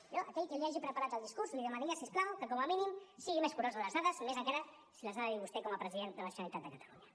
jo a aquell que li hagi preparat el discurs li demanaria si us plau que com a mínim sigui més curós amb les dades i més encara si les ha de dir vostè com a president de la generalitat de catalunya